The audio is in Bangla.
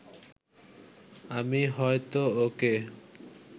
আমি হয়তো ওকে